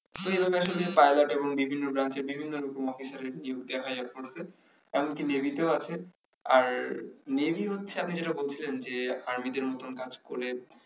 তো এভাবে আসলে পাইলট এবং বিভিন্ন brance বিভিন্ন রকম officer এর নিয়োগ দেয়া হয় air force এমনকি নেভিতে আছে আর হচ্ছে আপনি যেটা বলছিলেন যে আর্মিদের মতন কাজ করে